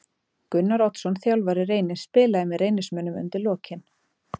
Gunnar Oddsson þjálfari Reynis spilaði með Reynismönnum undir lokin.